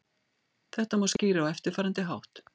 Þetta má skýra á eftirfarandi hátt.